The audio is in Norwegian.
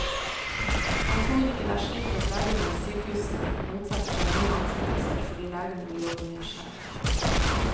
Han tror ikke det er slik at legene ved sykehusene motsetter seg nye ansettelser fordi legene vil jobbe mer selv.